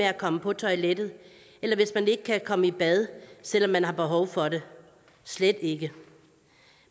at komme på toilettet eller hvis man ikke kan komme i bad selv om man har behov for det slet ikke